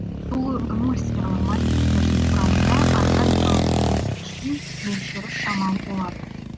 сулы эмульсиялы мастиктердің құрамында органикалық еріткіштің мөлшері шамалы болады